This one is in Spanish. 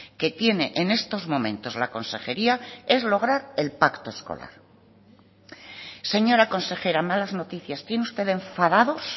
que tiene en estos momentos la consejería es lograr el pacto escolar señora consejera malas noticias tiene usted enfadados